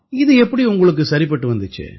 இது எப்படி உங்களுக்கு சரிப்பட்டு வந்திச்சு